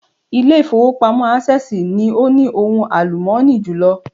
Ilé ìfowópamọ́ Access ni o ní ohun àlùmọ́ọ́nì jùlọ